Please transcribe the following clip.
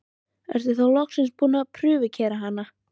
Ertu þá loksins búinn að prufukeyra hana?